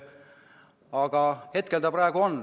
Aga praegu see olemas on.